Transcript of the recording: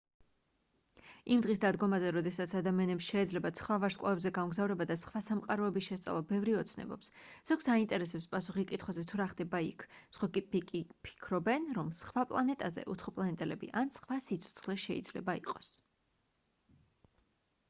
იმ დღის დადგომაზე როდესაც ადამიანებს შეეძლებათ სხვა ვარსკვლავებზე გამგზავრება და სხვა სამყაროების შესწავლა ბევრი ოცნებობს ზოგს აინტერესებს პასუხი კითხვაზე თუ რა ხდება იქ სხვები კი ფიქრობენ რომ სხვა პლანეტაზე უცხოპლანეტელები ან სხვა სიცოცხლე შეიძლება იყოს